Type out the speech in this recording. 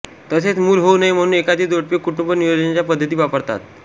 तसेच मूल होऊ नये म्हणून एखादे जोडपे कुटुंब नियोजनाच्या पद्धती वापरतात